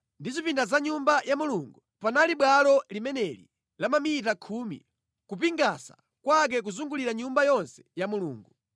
ndi zipinda za Nyumba ya Mulungu panali bwalo limeneli la mamita khumi kupingasa kwake kuzungulira Nyumba yonse ya Mulungu.